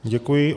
Děkuji.